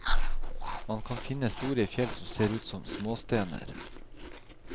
Man kan finne store fjell som ser ut som småstener.